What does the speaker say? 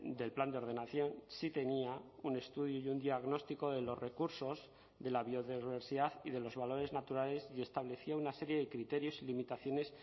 del plan de ordenación sí tenía un estudio y un diagnóstico de los recursos de la biodiversidad y de los valores naturales y establecía una serie de criterios y limitaciones